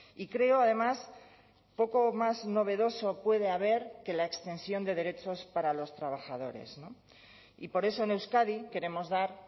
y creo además poco o más novedoso puede haber que la extensión de derechos para los trabajadores y por eso en euskadi queremos dar